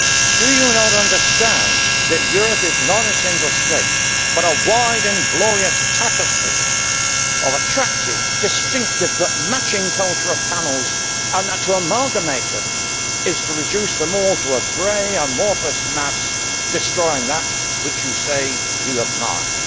Do you not understand that Europe is not a single state but a wide and glorious tapestry of attractive, distinctive but matching cultural panels, and to amalgamate them is to reduce them all to a grey amorphous mass, thereby destroying that which you say you admire?